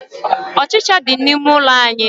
Ọchicha dị n'ime ụlọ anyị.